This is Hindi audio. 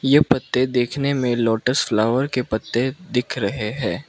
ये पत्ते देखने में लोटस फ्लावर के पत्ते दिख रहे हैं।